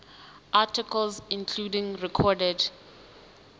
articles including recorded